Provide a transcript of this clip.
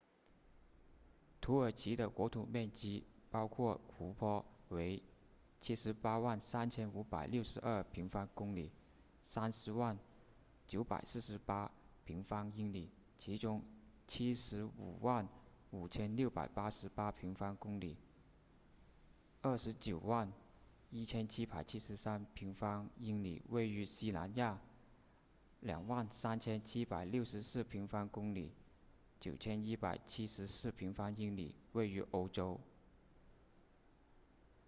土耳其的国土面积包括湖泊为 783,562 平方公里 300,948 平方英里其中 755,688 平方公里 291,773 平方英里位于西南亚 23,764 平方公里 9,174 平方英里位于欧洲